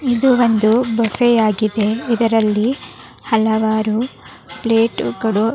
ಇದು ಒಂದು ಬೊಫೆ ಆಗಿದೆ ಇದರಲ್ಲಿ ಹಲವಾರು ಪ್ಲೇಟುಗಳು --